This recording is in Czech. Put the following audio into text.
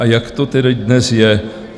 A jak to tedy dnes je?